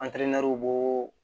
An tɛmɛriw bo